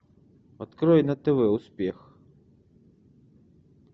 открой на тв успех